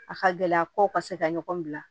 A ka gɛlɛ a ko ka se ka ɲɔgɔn bila